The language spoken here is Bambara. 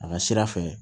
A ka sira fɛ